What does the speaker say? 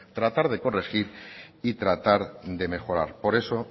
tratar de corregir y tratar de mejorar por eso